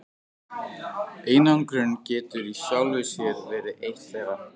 Einangrun getur í sjálfu sér verið eitt þeirra.